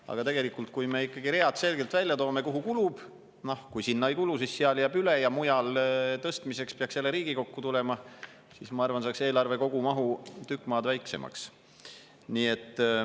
Aga tegelikult, kui me ikkagi toome selgelt välja read, kuhu kulub, ja kui sinna ei kulu, siis seal jääb üle ja mujale tõstmiseks peaks jälle Riigikokku tulema, siis, ma arvan, saaks eelarve kogumahu tükk maad väiksemaks.